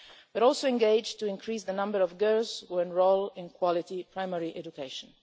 We're also engaged in increasing the number of girls who enrol in quality primary education.